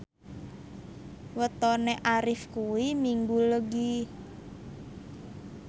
wetone Arif kuwi Minggu Legi